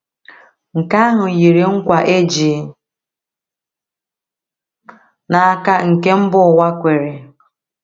Nke ahụ yiri nkwa e ji n’aka nke mba ụwa kwere.